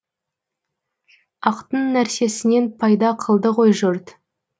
ақтың нәрсесінен пайда қылды ғой жұрт